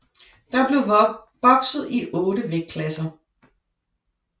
Der blev bokset i 8 vægtklasser